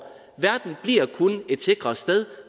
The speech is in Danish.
verden bliver kun et sikrere sted